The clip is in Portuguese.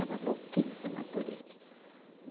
Era louquíssima por ele.